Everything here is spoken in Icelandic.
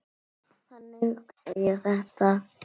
Þannig hugsa ég þetta.